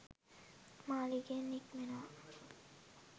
මාළිගයෙන් නික්මෙනවා